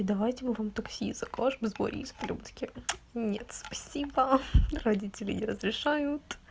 давайте мы вам такси закажем с борисполя мы такие нет спасибо родители не разрешают